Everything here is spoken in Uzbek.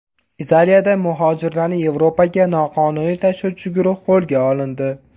Italiyada muhojirlarni Yevropaga noqonuniy tashuvchi guruh qo‘lga olindi.